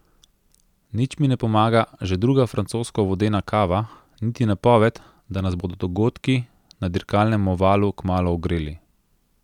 Nič mi ne pomaga že druga francosko vodena kava niti napoved, da nas bodo dogodki na dirkalnem ovalu kmalu ogreli.